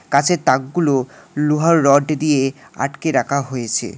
কাঁসের তাকগুলো লোহার রড দিয়ে আটকে রাখা হয়েছে।